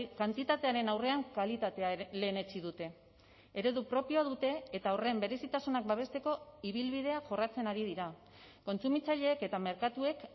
kantitatearen aurrean kalitatea lehenetsi dute eredu propioa dute eta horren berezitasunak babesteko ibilbidea jorratzen ari dira kontsumitzaileek eta merkatuek